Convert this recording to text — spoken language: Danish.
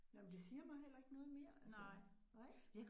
Nej, men det siger mig heller ikke noget mere altså, nej